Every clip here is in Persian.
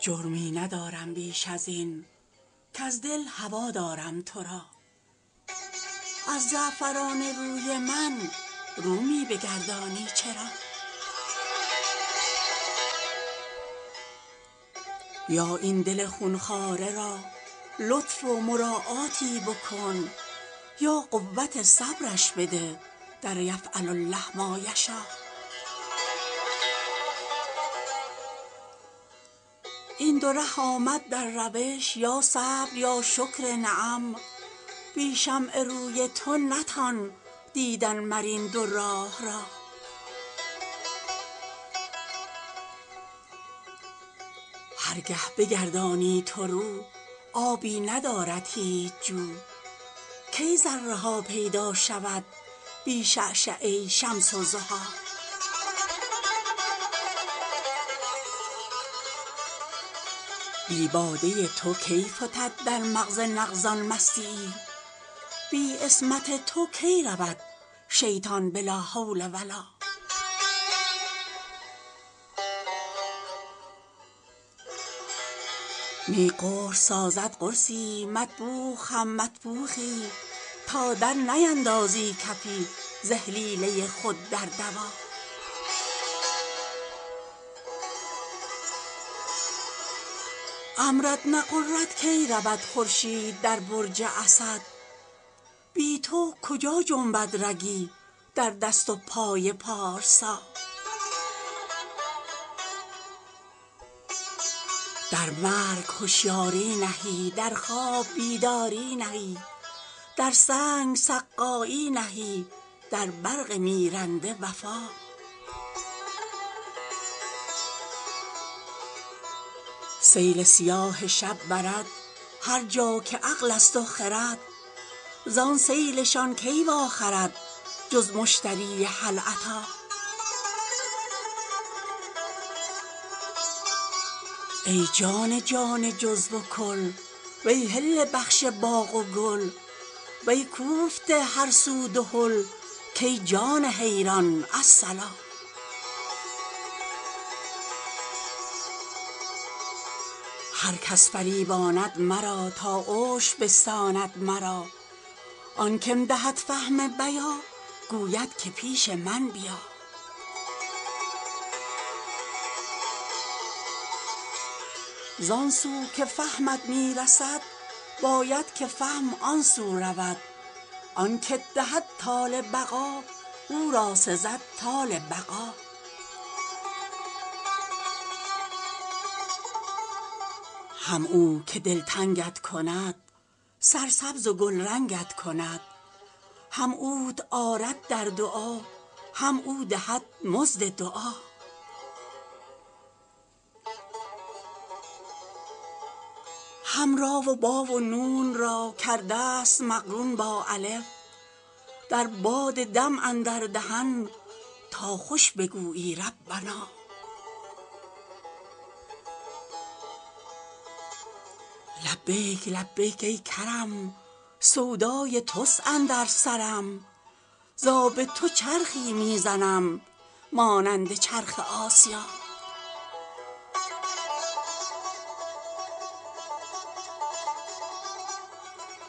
جرمی ندارم بیش از این کز دل هوا دارم تو را از زعفران روی من رو می بگردانی چرا یا این دل خون خواره را لطف و مراعاتی بکن یا قوت صبرش بده در یفعل الله ما یشا این دو ره آمد در روش یا صبر یا شکر نعم بی شمع روی تو نتان دیدن مر این دو راه را هر گه بگردانی تو رو آبی ندارد هیچ جو کی ذره ها پیدا شود بی شعشعه شمس الضحی بی باده تو کی فتد در مغز نغز ان مستی یی بی عصمت تو کی رود شیطان به لا حول و لا نی قرص سازد قرصی یی مطبوخ هم مطبوخی یی تا درنیندازی کفی ز اهلیله خود در دوا امرت نغرد کی رود خورشید در برج اسد بی تو کجا جنبد رگی در دست و پای پارسا در مرگ هشیاری نهی در خواب بیداری نهی در سنگ سقایی نهی در برق میرنده وفا سیل سیاه شب برد هر جا که عقل است و خرد زان سیل شان کی واخرد جز مشتری هل اتی ای جان جان جزو و کل وی حله بخش باغ و گل وی کوفته هر سو دهل کای جان حیران الصلا هر کس فریباند مرا تا عشر بستاند مرا آن که م دهد فهم بیا گوید که پیش من بیا زان سو که فهمت می رسد باید که فهم آن سو رود آن که ت دهد طال بقا او را سزد طال بقا هم او که دلتنگ ت کند سرسبز و گلرنگ ت کند هم اوت آرد در دعا هم او دهد مزد دعا هم ری و بی و نون را کرده ست مقرون با الف در باد دم اندر دهن تا خوش بگویی ربنا لبیک لبیک ای کرم سودای توست اندر سرم ز آب تو چرخی می زنم مانند چرخ آسیا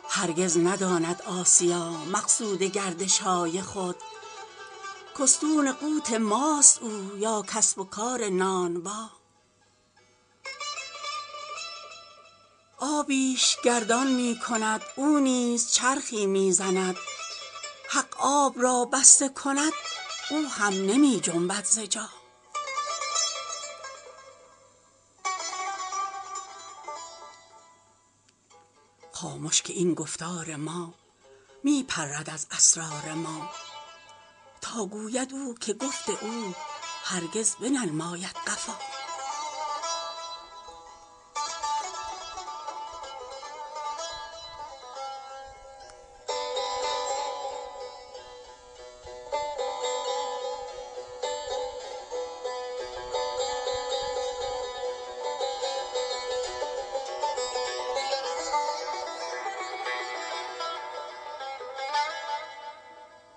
هرگز نداند آسیا مقصود گردش های خود که استون قوت ماست او یا کسب و کار نانبا آبی ش گردان می کند او نیز چرخی می زند حق آب را بسته کند او هم نمی جنبد ز جا خامش که این گفتار ما می پرد از اسرار ما تا گوید او که گفت او هرگز بننماید قفا